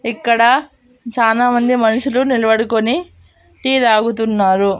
ఇక్కడ చానామంది మనుషులు నిలబడుకొని టీ తాగుతున్నారు.